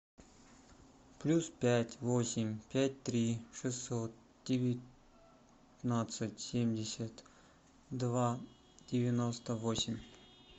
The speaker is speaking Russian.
плюс пять восемь пять три шестьсот девятнадцать семьдесят два девяносто восемь